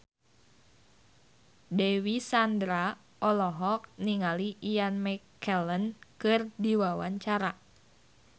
Dewi Sandra olohok ningali Ian McKellen keur diwawancara